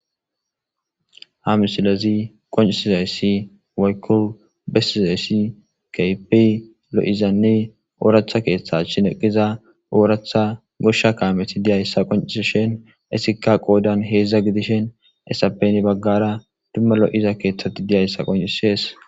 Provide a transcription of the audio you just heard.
ha misilezi qoncisizayssi wayku besizayssi keypi lo7izanne ooractha keeththa shineqiza ooratha goshsha kaameti diyayssa qonciishen isikka qoodan heedzdza gidishen essapeni baggara dumma lo7iza keeththati diyayssa qoncisees